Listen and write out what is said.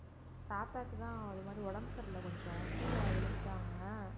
பாப்பாக்கு தான் இந்த மாதிரி உடம்பு சரியில்ல கொஞ்சம் கீழ விழுந்துட்டாங்க